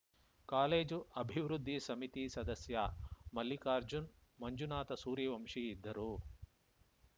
college ಅಭಿವೃದ್ಧಿ ಸಮಿತಿ ಸದಸ್ಯ ಮಲ್ಲಿಕಾರ್ಜುನ್‌ ಮಂಜುನಾಥ ಸೂರ್ಯವಂಶಿ ಇದ್ದರು